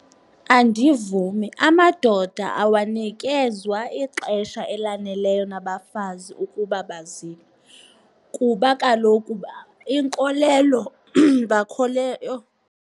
Andivumi, amadoda awanikezwa ixesha elaneleyo nabafazi ukuba bazile kuba kaloku iinkolelo . Yho!